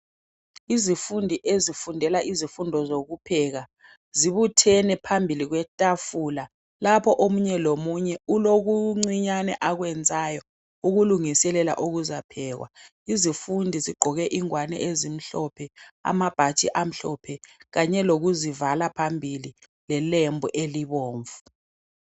Izifundi ezifundela izifundo zokupheka zibuthene phambili kwetafula, lapho omunye lomunye ulokuncinyane akwenzayo ukulungiselela ukuzaphekwa. Izifundi zigqoke ingwane ezimhlophe, amabhatshi amhlophe, kanye lokuzivala phambili ngelembu elibomvu.